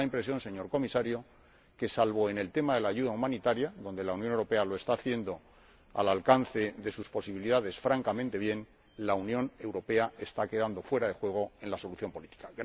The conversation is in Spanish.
Y da la impresión, señor Comisario, de que, salvo en el tema de la ayuda humanitaria, donde la Unión Europea lo está haciendo, habida cuenta de sus posibilidades, francamente, la Unión Europea está quedando fuera de juego en la solución política.